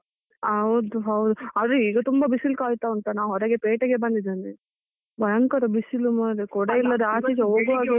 ಹೌದು ಹೌದು, ಅದೆ ಈಗ ತುಂಬ ಬಿಸಿಲು ಕಾಯ್ತ ಉಂಟಾ ನಾವ್ ಹೊರಗೆ ಪೇಟೆಗೆ ಬಂದಿದ್ದೇನೆ ಭಯಂಕರ ಬಿಸಿಲು ಮಾರೆ ಕೊಡೆ ಆಚೆ ಈಚೆ ಹೋಗುವಾಗೆ ಇಲ್ಲ.